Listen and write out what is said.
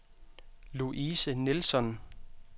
Louise Nilsson